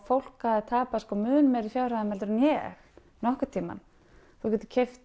fólk hafði tapað mun hærri fjárhæðum en ég nokkurn tímann þú getur keypt